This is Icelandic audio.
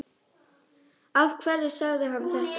Af hverju sagði hann þetta?